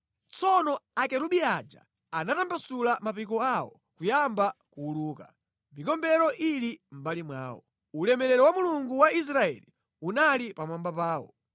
Tsono akerubi aja anatambasula mapiko awo kuyamba kuwuluka, mikombero ili mʼmbali mwawo. Ulemerero wa Mulungu wa Israeli unali pamwamba pawo.